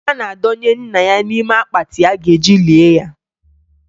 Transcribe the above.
A na-adọnye nna ya n'ime akpatị a ga-eji lie ya.